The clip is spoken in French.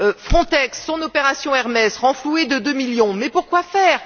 Frontex, son opération Hermès renflouée de deux millions, mais pour quoi faire?